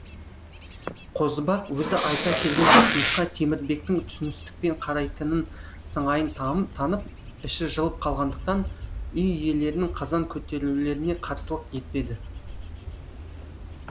қозыбақ өзі айта келген ұсынысқа темірбектің түсіністікпен қарайтын сыңайын танып іші жылып қалғандықтан үй иелерінің қазан көтерулеріне қарсылық етпеді